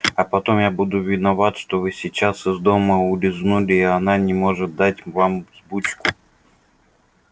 а потом я буду виноват что вы сейчас из дома улизнули и она не может дать вам взбучку